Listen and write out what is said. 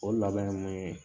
O laban ye mun ye